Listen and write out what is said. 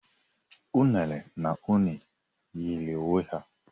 Unere na une yiri onwe ha